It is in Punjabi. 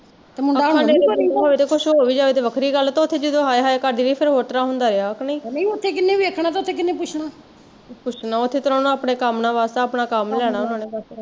ਜੇ ਕੁਸ਼ ਹੋ ਵੀ ਜਾਏ ਤੇ ਵੱਖਰੀ ਗੱਲ ਐ ਤੇ ਉੱਥੇ ਜਦੋਂ ਹਾਏ ਹਾਏ ਕਰਦੀ ਰਹੀ ਫੇਰ ਹੋਰ ਤਰਾਂ ਹੁੰਦਾ ਰਿਹਾ ਕਿ ਨਹੀਂ ਪੁੱਛਣਾ ਉੱਥੇ ਕਿਹਣਾ ਅਪਣੇ ਕੰਮ ਨਾਲ਼ ਵਾਸਤਾ ਵਾ ਆਪਣਾ ਕੰਮ ਲੈਣਾ ਉਹਨਾਂ ਨੇ ਬਸ